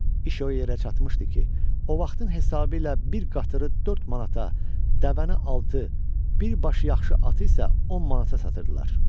İş o yerə çatmışdı ki, o vaxtın hesabı ilə bir qatırı dörd manata, dəvəni altı, bir başı yaxşı atı isə on manata satırdılar.